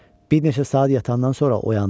Bir neçə saat yatandan sonra oyandım.